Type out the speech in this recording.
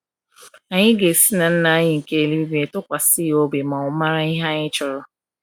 Anyị ga-esi na Nna anyị nke eluigwe tụkwasị ya obi na ọ maara ihe anyị chọrọ.